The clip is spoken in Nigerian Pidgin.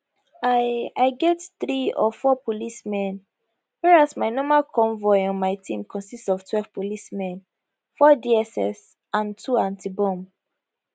i i get three or four policemen whereas my normal convoy on my team consist of twelve policemen four dss and two antibomb